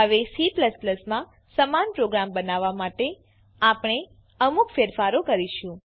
હવે C માં સમાન પ્રોગ્રામ બનાવવા માટે આપણે અમુક ફેરફારો કરીશું